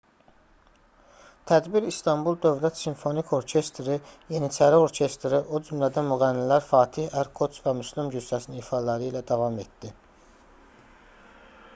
tədbir i̇stanbul dövlət simfonik orkestri yeniçəri orkestri o cümlədən müğənnilər fatih erkoç və müslüm gursəsin ifaları ilə davam etdi